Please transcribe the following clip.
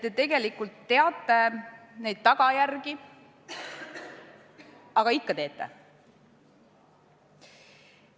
Te tegelikult teate neid tagajärgi, aga ikka teete.